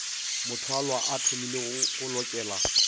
mothwalwa a thomilego go lokela